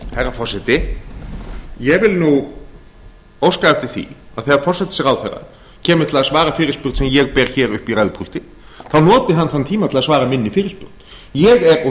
herra forseti ég vil óska eftir því að þegar forsætisráðherra kemur til að svara fyrirspurn sem ég ber upp í ræðupúlti þá noti hann þann tíma til að svara minni fyrirspurn ég og